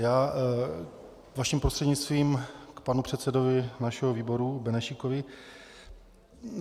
Já vaším prostřednictvím k panu předsedovi našeho výboru Benešíkovi.